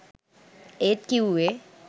ඒත් කිව්වේ